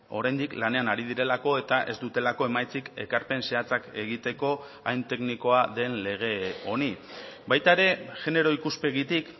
oraindik lanean ari direlako eta ez dutelako emaitzik ekarpen zehatzak egiteko hain teknikoa den lege honi baita ere genero ikuspegitik